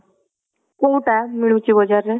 କୋଉଟା ମିଳୁଛି ବଜ଼ାର ରେ